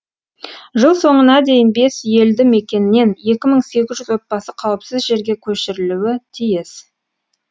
жыл соңына дейін бес елді мекеннен екі мың сегіз жүз отбасы қауіпсіз жерге көшірілуі тиіс